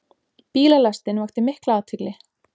Bílalestin vakti mikla athygli.